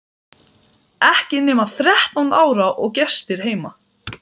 Ekki nema þrettán ára og gestir heima!